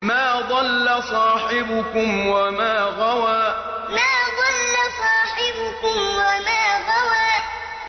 مَا ضَلَّ صَاحِبُكُمْ وَمَا غَوَىٰ مَا ضَلَّ صَاحِبُكُمْ وَمَا غَوَىٰ